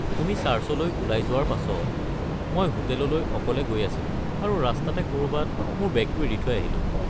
তুমি চাৰ্চলৈ ওলাই যোৱাৰ পাছত, মই হোটেললৈ অকলে গৈ আছিলোঁ আৰু ৰাস্তাতে ক'ৰবাত মোৰ বেগটো এৰি থৈ আহিলোঁ।